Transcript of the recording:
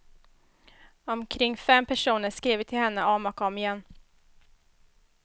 Omkring fem personer skriver till henne om och om igen.